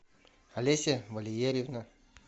олеся валерьевна